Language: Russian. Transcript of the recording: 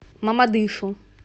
мамадышу